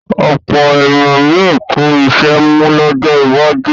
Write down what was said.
Ọ̀pọ̀ ènìyàn ni yóò tú iṣẹ́ mú lọ́jọ́ iwájú.